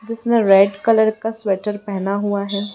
जिसने red colour का sweater पहना हुआ है।